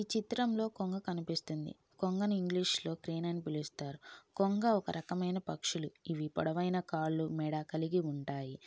ఈ చిత్రంలో కొంగ కనిపిస్తుంది. కొంగ ను ఇంగ్లీష్ లో క్రేన్ అని పిలుస్తారు. కొంగ ఒక రకమైన పక్షులు. ఇది పొడవైన కాళ్లు మెడ కలిగి ఉంటాయి.